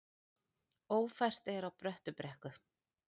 Ófært er á Bröttubrekku